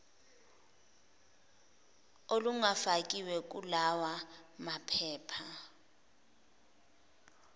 olungafakiwe kulawa maphepha